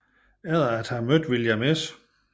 Efter at have mødt William S